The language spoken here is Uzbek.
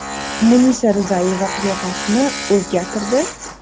Munisa Rizayeva qiyofasini o‘zgartirdi?!.